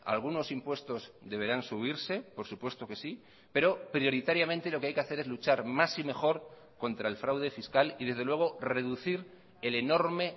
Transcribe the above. algunos impuestos deberán subirse por supuesto que sí pero prioritariamente lo que hay que hacer es luchar más y mejor contra el fraude fiscal y desde luego reducir el enorme